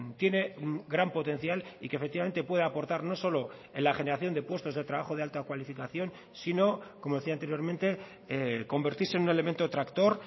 tiene gran potencial y que efectivamente puede aportar no solo en la generación de puestos de trabajo de alta cualificación sino como decía anteriormente convertirse en un elemento tractor